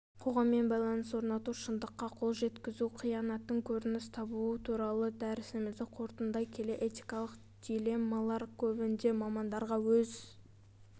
қоғаммен байланыс орнату шындыққа қол жеткізу қиянаттың көрініс табуы туралы дәрісімізді қорытындылай келе этикалық дилеммалар көбінде мамандарға өз